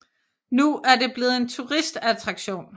Nu er det blevet en turistattraktion